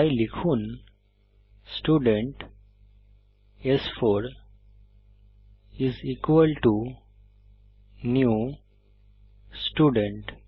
তাই লিখুন স্টুডেন্ট স্4 is equal to new student